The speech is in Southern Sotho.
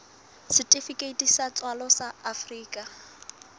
setifikeiti sa tswalo sa afrika